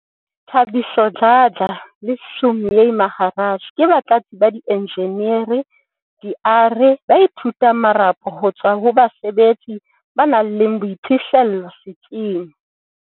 Thabiso Dladla le Sumay Maharaj ke batlatsi ba dienjeneri di-ARE ba ithutang marapo ho tswa ho basebetsi ba nang le boiphihlello setsing.